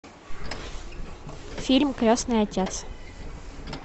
фильм крестный отец